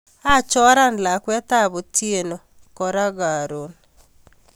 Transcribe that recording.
Kachora lakwetab Otieno kora karon